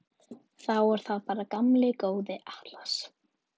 Þá er það bara gamli góði Atlas.